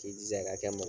K'i jija ka kɛ ma